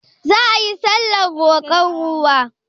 Za ayi sallar roƙon ruwa?